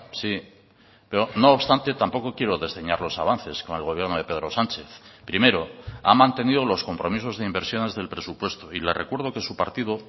sí pero no obstante tampoco quiero desdeñar los avances con el gobierno de pedro sánchez primero ha mantenido los compromisos de inversiones del presupuesto y le recuerdo que su partido